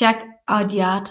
Jacques Audiard